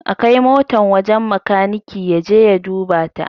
A kai motan wajen makaniki ya je ya duba ta!